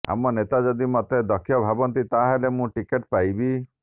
ଆମ ନେତା ଯଦି ମତେ ଦକ୍ଷ ଭାବନ୍ତି ତାହାଲେ ମୁଁ ଟିକେଟ ପାଇବି